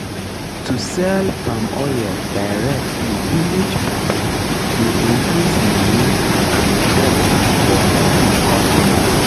to sell palm oil direct to village people dey increase money and trust for um customers